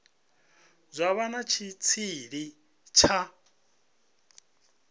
zwa vha na tshitshili tsha